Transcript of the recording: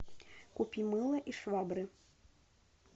купи мыло и швабры